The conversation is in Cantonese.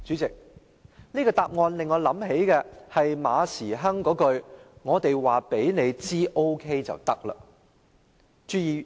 這個答案令我想起馬時亨那一句"我們告訴你 OK 便行了"。